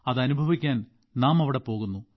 അത് അനുഭവിക്കാൻ നാം അവിടെ പോകുന്നു